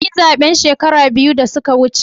Kun yi zabe shekaru biyu da suka wuce?